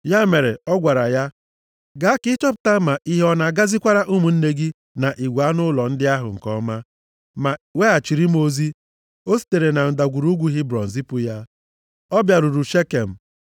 Ya mere, ọ gwara ya, “Gaa ka ị chọpụta ma ihe ọ na-agazikwara ụmụnne gị na igwe anụ ụlọ ndị ahụ nke ọma, ma weghachiri m ozi.” O sitere na Ndagwurugwu Hebrọn zipụ ya. Ọ bịaruru Shekem,